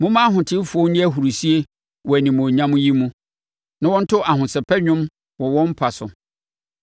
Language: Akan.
Momma ahotefoɔ nni ahurisie wɔ animuonyam yi mu; na wɔnto ahosɛpɛ dwom wɔ wɔn mpa so.